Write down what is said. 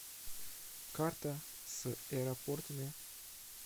карта с аэропортами